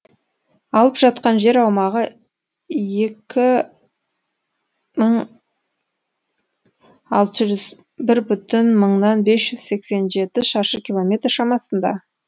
алып жатқан жер аумағы екі мың алты жүз бір бүтін мыңнан бес жүз сексен жеті шаршы километр шамасында